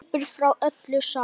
Hleypur frá öllu saman.